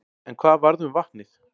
En hvað varð um vatnið?